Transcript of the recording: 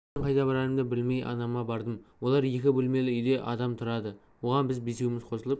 мен қайда барарымды білмей анама бардым олар екі бөлмелі үйде адам тұрады оған біз бесеуміз қосылып